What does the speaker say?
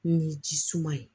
Ni ji suma ye